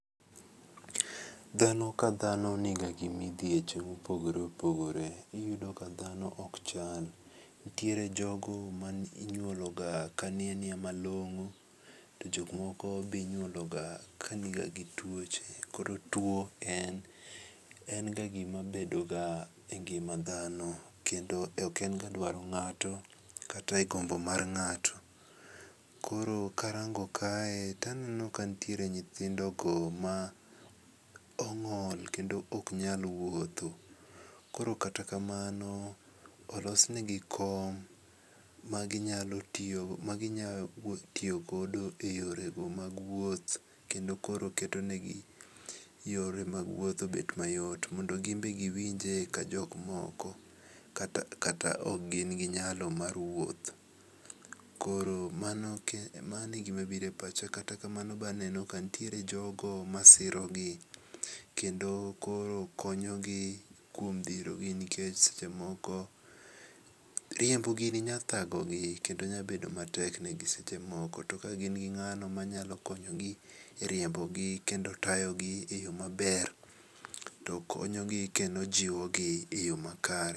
Dhano ka dhano niga gimidhieche mopogore opogore. Iyudo ka dhano ok chal. Nitiere jogo ma inyuolo ga ka nia nia malong'o to jok moko be inyuolo ga kani ga gi tuoche kor tuo en ga gima bedo ga e ngima dhano kendo ok en ga dwaro ng'ato kata e gombo mar ng'ato. Koro karango kae taneno ka nitiere nyithindo go ma ong'ol kendo ok nyal wuotho. Koro kata kamano olosnegi kom maginyalo tiyogodo e yore go mad wuoth kendo koro ketonegi yore mag wuoth obed mayot mondo gin be giwinje ka jok moko kata ok gin gi nyalo mar wuoth. Koro mano e gima bire pacha. Kata kamano be aneno ka nitiere jogo masiro gi kendo koro konyogi kuom dhiro gi nikech sechemoko riembo gini nya thago gi kendo nyabedo matek ne gi seche moko. To ka gin gi ng'ano manyakonyogi e riiembo gi kendo tayogi e yo maber to konyogi kendo jiwogi e yo makare.